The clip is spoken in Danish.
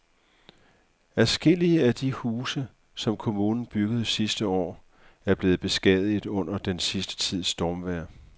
Adskillige af de huse, som kommunen byggede sidste år, er blevet beskadiget under den sidste tids stormvejr.